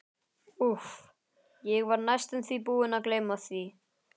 Úff, ég var næstum því búinn að gleyma því.